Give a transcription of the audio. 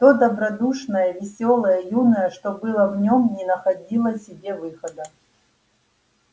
то добродушное весёлое юное что было в нем не находило себе выхода